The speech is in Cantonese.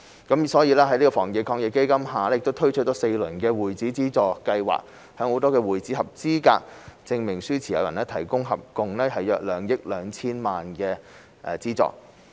故此，政府在基金下推出了4輪的會址資助計劃，向會址合格證明書持有人提供合共約2億 2,000 萬元的資助。